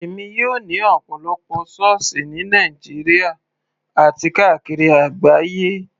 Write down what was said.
Èmi yóò ní ọ̀pọ̀lọpọ̀ sọ́ọ̀sì ní Nàìjíríà àti káàkiri àgbáyé.